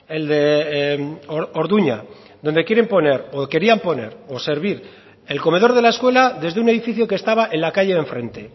el de orduña donde quieren poner o querían poner o servir el comedor de la escuela desde un edificio que estaba en la calle de enfrente